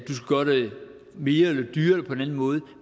mere eller dyrere eller på en anden måde